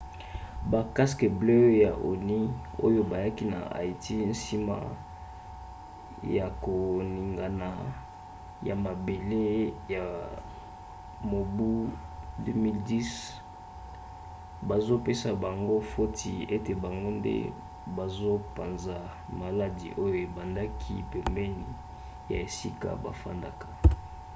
ba casques bleus ya onu oyo bayaki na haïti nsima ya koningana ya mabele ya mobu 2010 bazopesa bango foti ete bango nde bazopanza maladi oyo ebendaka pembeni ya esika bafandaka